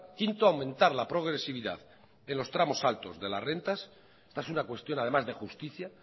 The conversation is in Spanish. quinto aumentar la progresividad en los tramos altos de las rentas esta es una cuestión además de justicia